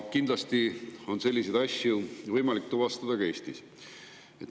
Kindlasti on selliseid asju võimalik tuvastada ka Eestis.